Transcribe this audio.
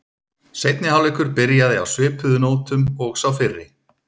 Seinni hálfleikur byrjaði á svipuðu nótum og sá fyrri.